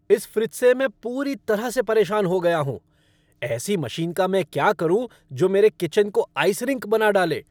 इस फ़्रिज से मैं पूरी तरह से परेशान हो गया हूँ। ऐसी मशीन का मैं क्या करूँ जो मेरे किचन को आइस रिंक बना डाले?